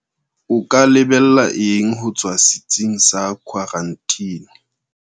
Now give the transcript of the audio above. O ka lebella eng ho tswa setsing sa khwaranteni?